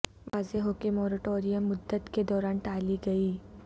واضح ہو کہ موریٹوریم مدت کے دوران ٹالی گئی